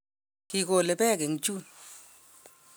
kigole beek eng June